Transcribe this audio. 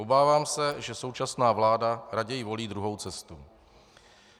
Obávám se, že současná vláda raději volí druhou cestu.